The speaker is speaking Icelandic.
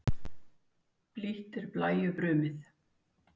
Blítt er blæju brumið.